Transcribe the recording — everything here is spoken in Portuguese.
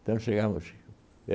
Então, chegamos.